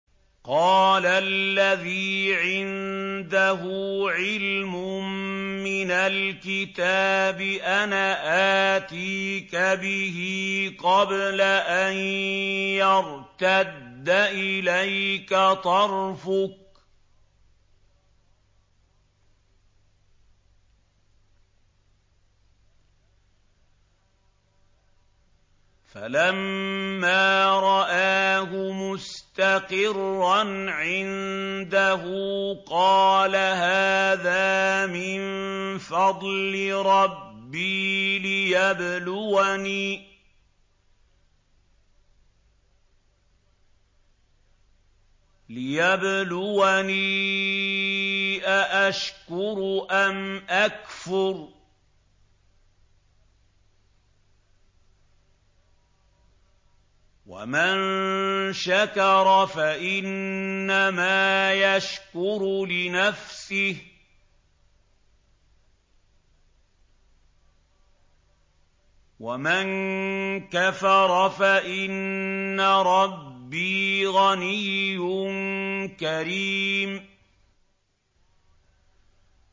قَالَ الَّذِي عِندَهُ عِلْمٌ مِّنَ الْكِتَابِ أَنَا آتِيكَ بِهِ قَبْلَ أَن يَرْتَدَّ إِلَيْكَ طَرْفُكَ ۚ فَلَمَّا رَآهُ مُسْتَقِرًّا عِندَهُ قَالَ هَٰذَا مِن فَضْلِ رَبِّي لِيَبْلُوَنِي أَأَشْكُرُ أَمْ أَكْفُرُ ۖ وَمَن شَكَرَ فَإِنَّمَا يَشْكُرُ لِنَفْسِهِ ۖ وَمَن كَفَرَ فَإِنَّ رَبِّي غَنِيٌّ كَرِيمٌ